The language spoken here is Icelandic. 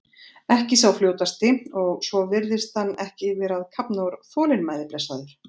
Ekki sá fljótasti og svo virðist hann ekki vera að kafna úr þolinmæði blessaður.